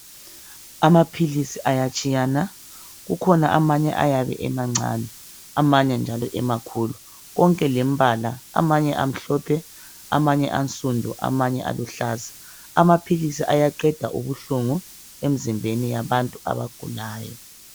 Amaphilisi ayatshiyana kukhona amanye ayabe emancane amanye njalo emakhulu konke lempala amanye amhlophe amanye ansundu amanye eluhlaza. Amaphilizi ayaqeda ubuhlungu emzimbeni yabantu abagulayo.